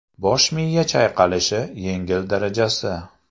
Bosh miya chayqalishi yengil darajasi.